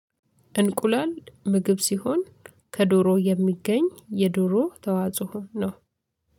እንቁላል ምግብ ሲሆን ከዶሮ የሚገኝ የዶሮ ተዋጽኦ ነው